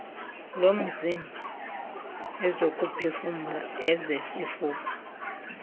lomzimba ezokuphefumla ezesifuba